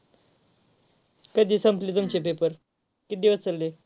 कधी संपले तुमचे paper किती दिवस चालले?